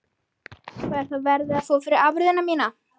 Þorbjörn: Hvað er þá verðið, að fá fyrir afurðina núna?